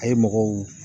A ye mɔgɔw